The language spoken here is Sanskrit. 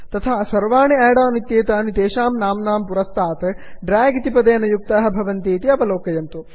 तथा सर्वाणि आड् आन् इत्येतानि तेषां नाम्नां पुरस्तात् ड्र्याग् इति पदेन युक्ताः भवन्ति इति अवलोकयन्तु